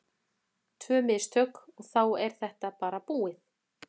Tvö mistök og þá er þetta bara búið.